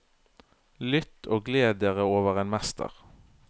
Lytt og gled dere over en mester.